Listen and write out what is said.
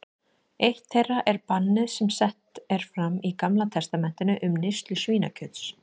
Eitt þeirra er bannið sem sett er fram í Gamla testamentinu um neyslu svínakjöts.